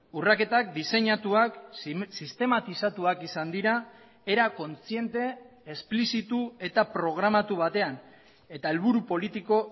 urraketak diseinatuak sistematizatuak izan dira era kontziente esplizitu eta programatu batean eta helburu politiko